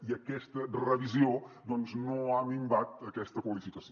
i aquesta revisió doncs no ha minvat aquesta qualificació